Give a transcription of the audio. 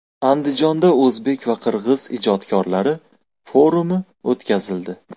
Andijonda o‘zbek va qirg‘iz ijodkorlari forumi o‘tkazildi .